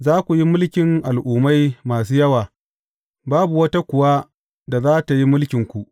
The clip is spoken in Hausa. Za ku yi mulkin al’ummai masu yawa, babu wata kuwa da za tă yi mulkinku.